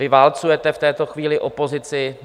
Vy válcujete v tuto chvíli opozici.